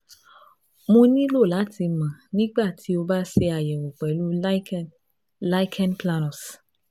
Mo nilo lati mọ nigbati o ba ṣe ayẹwo pẹlu cs] lichen lichen planus